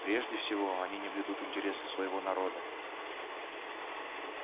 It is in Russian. прежде всего они не блюдут интересы своего народа